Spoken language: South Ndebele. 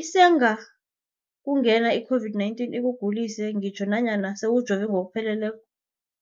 Isengakungena i-COVID-19 ikugulise ngitjho nanyana sewujove ngokupheleleko.